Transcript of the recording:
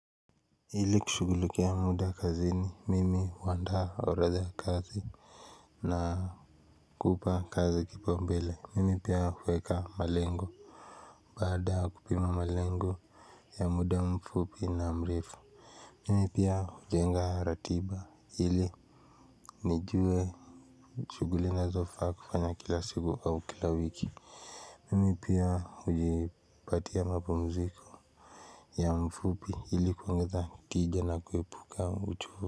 Ili kushugulikia muda kazini mimi huandaa oradha ya kazi na kupa kazi kipao mbele mimi pia huweka malengo baada ya kupima malengo ya muda mfupi na mrefu mimi pia hujenga ratiba ili nijue shuguli na zofa kufanya kila siku au kila wiki mimi pia hujipatia mapumziko ya mfupi hili kuongeza tije na kuepuka uchovu.